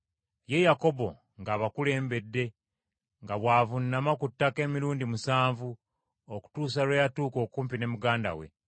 Ye Yakobo ng’abakulembedde, nga bw’avuunama ku ttaka emirundi musanvu, okutuusa lwe yatuuka okumpi ne muganda we.